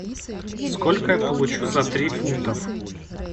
сколько я получу за три фунта